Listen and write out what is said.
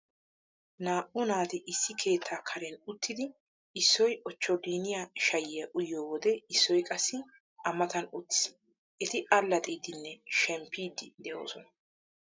Naa"u naati issi keettaa karen uttidi issoy ochcholliiniya shayiya uyiyo wode issoy qassi A matan uttiis. Eti allaxxiiddinne shemppiiddi de'oosona.